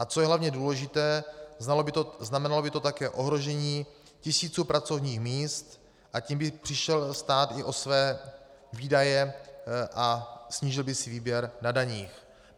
A co je hlavně důležité, znamenalo by to také ohrožení tisíců pracovních míst, a tím by přišel stát i o své výdaje a snížil by si výběr na daních.